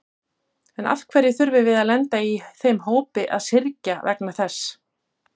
En af hverju þurfum við að lenda í þeim hópi að syrgja vegna þess?